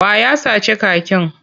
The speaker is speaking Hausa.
Wa ya sace kakin?